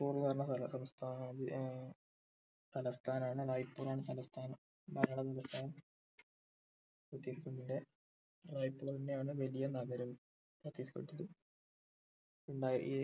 പറഞ്ഞ സ്ഥല തലസ്ഥാനം ഏർ തലസ്ഥാനാണ് തലസ്ഥാനം ഛത്തിസ്ഗഢിന്റെ റായ്പ്പൂർ തന്നെയാണ് വലിയ നഗരവും ഛത്തിസ്ഗഡിൽ ഇണ്ടായ